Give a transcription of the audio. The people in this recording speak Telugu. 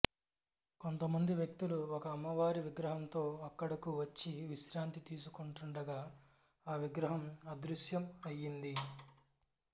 కొంతమంది వ్యక్తులు ఒక అమ్మవారి విగ్రహంతో అక్కడకు వచ్చి విశ్రాంతి తీసుకొంటుండగా ఆ విగ్రహం అదృశ్యం అయ్యింది